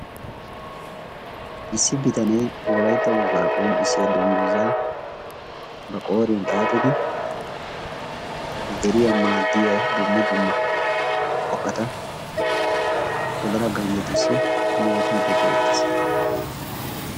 Issi bitanee wolaytta wogaa qonccisiyaa dunguzaa ba qooriyaan xaaxidi deriyaa maaddiyaa dumma dumma qofata wodala ganjettusi yoottiidi beettees.